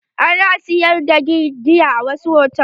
Ana sayar da giya a wasu hotal.